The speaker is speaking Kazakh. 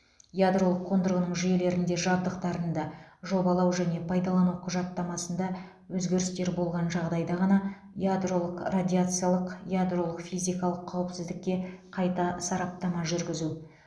ядролық қондырғының жүйелерінде жабдықтарында жобалау және пайдалану құжаттамасында өзгерістер болған жағдайда ғана ядролық радиациялық ядролық физикалық қауіпсіздікке қайта сараптама жүргізу